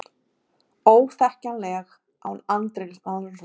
Þrennt slasaðist í útafakstri